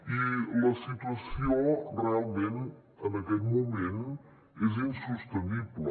i la situació realment en aquest moment és insostenible